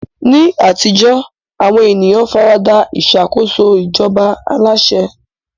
Ní àtijọ́, àwọn ènìyàn fara da ìṣàkóso ìjọba aláṣẹ.